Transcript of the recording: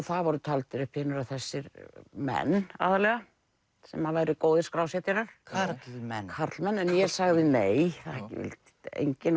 það voru taldir upp hinir og þessir menn aðallega sem væru góðir skrásetjarar karlmenn karlmenn en ég sagði nei enginn